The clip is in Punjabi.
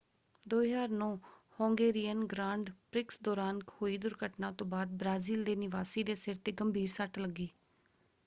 2009 ਹੌਂਗੇਰੀਅਨ ਗ੍ਰਾਂਡ ਪ੍ਰਿਕਸ ਦੌਰਾਨ ਹੋਈ ਦੁਰਘਟਨਾ ਤੋਂ ਬਾਅਦ ਬ੍ਰਾਜ਼ੀਲ ਦੇ ਨਿਵਾਸੀ ਦੇ ਸਿਰ 'ਤੇ ਗੰਭੀਰ ਸੱਟ ਲੱਗੀ।